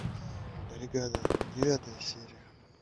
бригада девятая серия